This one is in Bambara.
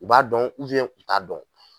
U b'a dɔn u t'a dɔn.